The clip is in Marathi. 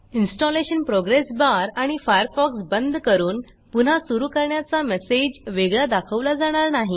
इन्स्टॉलेशन प्रोग्रेस बार आणि फायरफॉक्स बंद करून पुन्हा सुरू करण्याचा मेसेज वेगळा दाखवला जाणार नाही